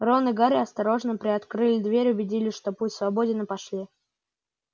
рон и гарри осторожно приоткрыли дверь убедились что путь свободен и пошли